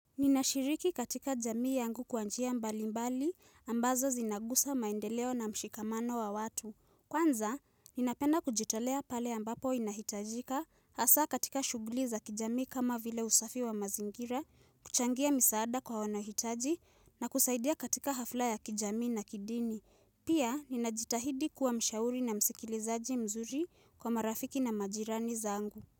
Ninashiriki katika jamii yangu kwanjia mbali mbali ambazo zinagusa maendeleo na mshikamano wa watu. Kwanza, ninapenda kujitolea pale ambapo inahitajika hasa katika shughuli za kijamii kama vile usafi wa mazingira, kuchangia misaada kwa wanahitaji na kusaidia katika hafla ya kijamii na kidini. Pia, ninajitahidi kuwa mshauri na msikilizaji mzuri kwa marafiki na majirani za angu.